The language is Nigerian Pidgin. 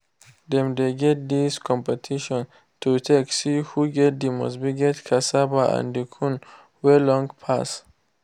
dem dey get dis competition to take see who get the most biggest cassava and the corn wey long pass.